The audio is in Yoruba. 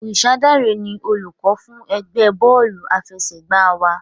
Orisadare ni olùkọ́ fún ẹgbẹ́ bọ́ọ̀lù àfẹsẹ̀gbá wa.